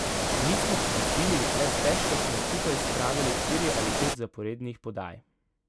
Nismo popustili, le stežka smo skupaj spravili štiri ali pet zaporednih podaj.